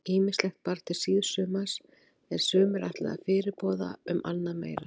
Ýmislegt bar til síðsumars er sumir ætla fyrirboða um annað meira.